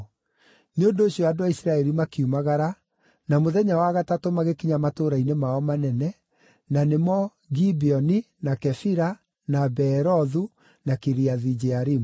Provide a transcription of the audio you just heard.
Nĩ ũndũ ũcio andũ a Isiraeli makiumagara, na mũthenya wa gatatũ magĩkinya matũũra-inĩ mao manene, na nĩmo: Gibeoni, na Kefira, na Beerothu, na Kiriathu-Jearimu.